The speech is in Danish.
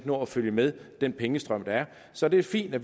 nå at følge med den pengestrøm der er så det er fint at